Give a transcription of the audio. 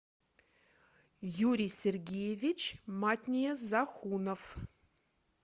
юрий сергеевич матния захунов